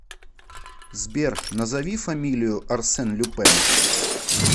сбер назови фамилию арсен люпен